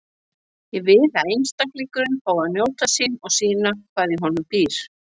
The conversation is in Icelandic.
Ég vil að einstaklingurinn fái að njóta sín og sýna hvað í honum býr.